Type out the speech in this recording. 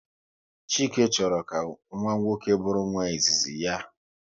Chike chọrọ ka nwa nwoke bụrụ nwa izizi ya